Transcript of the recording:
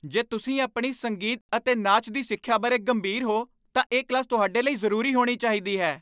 ਜੇ ਤੁਸੀਂ ਆਪਣੀ ਸੰਗੀਤ ਅਤੇ ਨਾਚ ਦੀ ਸਿੱਖਿਆ ਬਾਰੇ ਗੰਭੀਰ ਹੋ ਤਾਂ ਇਹ ਕਲਾਸ ਤੁਹਾਡੇ ਲਈ ਜ਼ਰੂਰੀ ਹੋਣੀ ਚਾਹੀਦੀ ਹੈ।